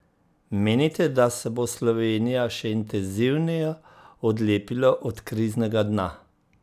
Menite, da se bo Slovenija še intenzivneje odlepila od kriznega dna?